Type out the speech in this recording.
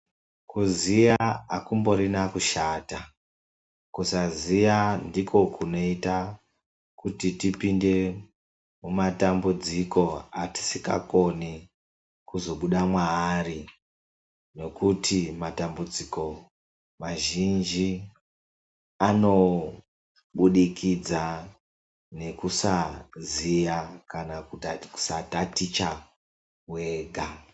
Kuziya akumborina kushata, kusaziya ndiko kunoita kuti tipinde mumatambudziko atisingakoni kuzobuda maari, ngokuti matambudziko mazhinji ano budikidza nekusaziya kana kusataticha wega.